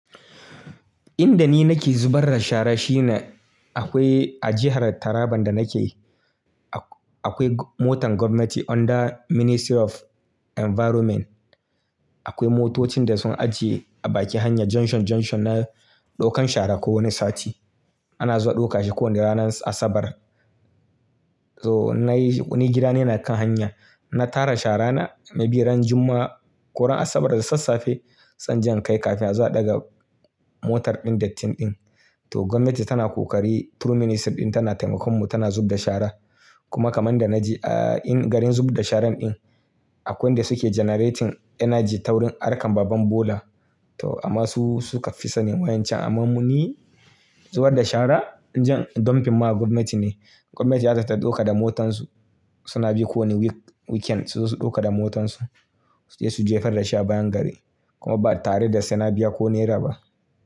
Inda ni nake zubar da shara shine akwai a jihar Taraban da nake, akwai motan gwamnati under Ministry of Environment. Akwai motocin da sun ajiye a bakin hanya junction junction na ɗaukan shara kowane sati. Ana zuwa ɗauka shi kowane ranar Asabar. Toh nai ni gida na yana kan hanya, in na tara shara na, maybe ran Juma'a ko ran Asabar da sassafe, sai in je in kai kafin a zo a ɗaga motar ɗin datti ɗin. Toh gwamnati tana kokari through ministry ɗin tana taimakon mu tana zubda shara. Kuma kamar da na ji a in garin zub da sharan ɗin, akwai wanda suke generating energy ta wurin harkan babban bola. To amma su suka fi sani wayancan amma mu ni zubar da shara. Jan dumping ma gwamnati ne. Gwamnati za ta ɗauka da motansu. Suna bi kowane week weekend su zo su ɗauka da motansu, su je su jefar da shi a bayan gari. Kuma ba tare da sai na biya ko naira ba.